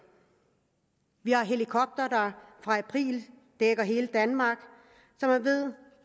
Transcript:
vi har helikoptere der dækker hele danmark så man ved